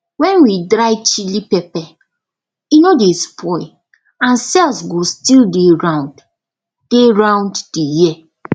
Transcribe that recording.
when we dry chilli pepper e no dey spoil and sales go still dey round dey round the year